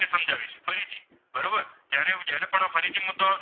તો ફરીથી મુદ્દો આવશે.